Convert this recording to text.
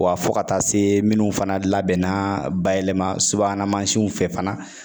Wa fo ka taa se minnu fana labɛnna bayɛlɛma subahana fɛ fana